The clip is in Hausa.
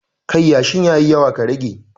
Kai yashin ya yi yawa ka rage